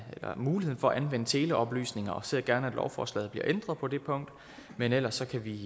muligheden for at anvende teleoplysninger og ser gerne at lovforslaget bliver ændret på det punkt men ellers kan vi